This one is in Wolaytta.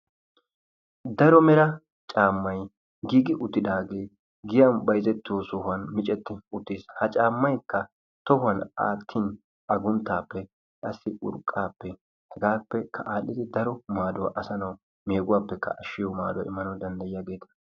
Daro mera caammay giigi uttidaagee giyan bayzettiyosan micetti uttiis. Ha caammaykka tohuwan aattin agunttaappe qassi urqqaappe hegaappekka aadhdhidi daro maaduwa asaa nawu meeguwappekka ashshiyo maaduwa immanawu danddayiyageeta.